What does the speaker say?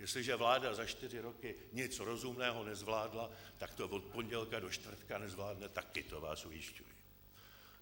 Jestliže vláda za čtyři roky nic rozumného nezvládla, tak to od pondělka do čtvrtka nezvládne taky, to vás ujišťuji.